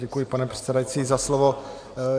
Děkuji, pane předsedající, za slovo.